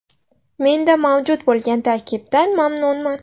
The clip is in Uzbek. Menda mavjud bo‘lgan tarkibdan mamnunman.